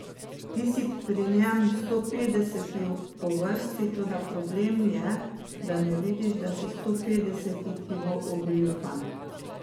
Ti si pri njem stopetdeseti po vrsti, toda problem je, da ne vidiš, da si stopetdeseti, ki bo ogoljufan.